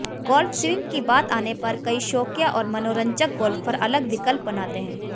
golf swing की बात आने पर कई शौकिया और मनोरंजक गोल्फर अलग विकल्प बनाते हैं